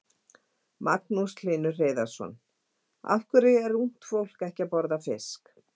Magnús Hlynur Hreiðarsson: Af hverju er ungt fólk ekki að borða fisk?